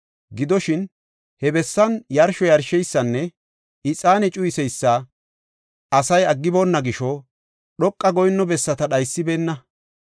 Gidoshin, he bessan yarsho yarsheysanne ixaane cuyiseysa asay aggiboonna gisho, dhoqa goyinno bessata dhaysibeenna;